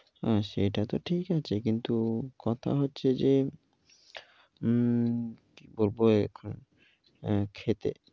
হ্যাঁ সেটা তো ঠিক আছে, কিন্তু কথা হচ্ছে যে, উম কি বলবো এখন, এ খেতে